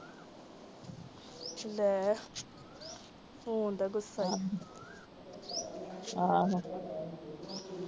ਲੈ, Phone ਦਾ ਗੁੱਸਾ।